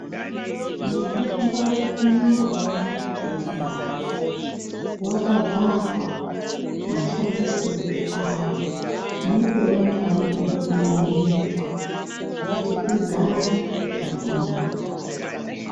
Mutombo umwe ngaumwe waungaona wakabharwa mashandisirwe awo nepaunofane kungwaririrwa kuti ugare zvakanaka.